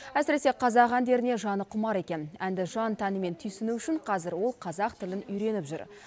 әсіресе қазақ әндеріне жаны құмар екен әнді жан тәнімен түсіну үшін қазір ол қазақ тілін үйреніп жүр